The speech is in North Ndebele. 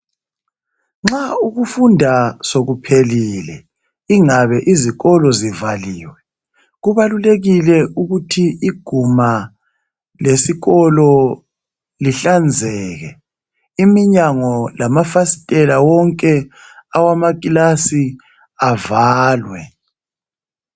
Nxa ukufunda sokuphelile ingabe izikolo zivaliwe kubalulekile ukuthi iguma lesikolo lihlanzeke, iminyango lamafasitela wonke awamakilasi avalwe.